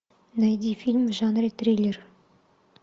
найди фильм в жанре триллер